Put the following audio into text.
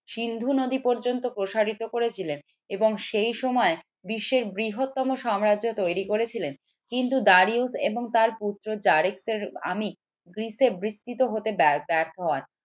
সিন্ধু নদী পর্যন্ত প্রসারিত করেছিলেন এবং সেই সময় বিশ্বের বৃহত্তম সাম্রাজ্য তৈরি করে ছিলেন কিন্তু এবং তার পুত্র গ্রিসে বিস্তৃত হতে ব্যর্থ হন।